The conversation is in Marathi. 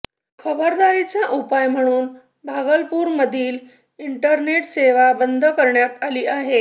खबरदारीचा उपाय म्हणून भागलपूरमधील इंटरनेट सेवा बंद करण्यात आली आहे